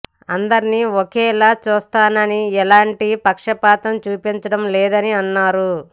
అందరినీ ఒకలానే చూస్తానని ఎలాంటి పక్షపాతం చూపించడం లేదని అన్నారు